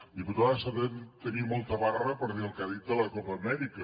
diputada s’ha de tenir molta barra per dir el que ha dit de la copa amèrica